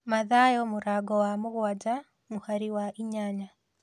Mathayo mũrango wa mũgwanja mũhari wa inyanya